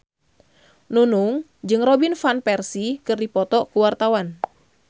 Nunung jeung Robin Van Persie keur dipoto ku wartawan